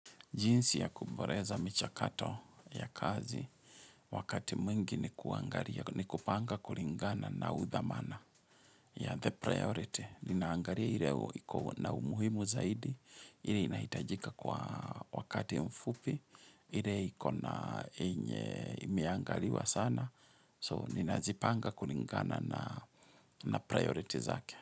Jinsi ya kuboreza michakato ya kazi wakati mwingi ni kupanga kuringana na udhamana. Ya the priority, ninaangaria ire iko na umuhimu zaidi, ireo inahitajika kwa wakati mfupi, ireo imeangaliwa sana, so ninazipanga kuringana na priority zake.